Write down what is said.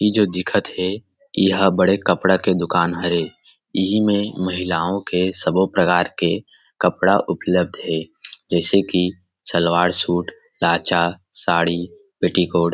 इ जो दिखत हे यह बड़े कपडा के दुकान हरे इहि में महिलाओ के सबो प्रकार के कपड़ा उपलब्ध हे जैसे की सलवार सूट लाचा साड़ी पेटीकोट --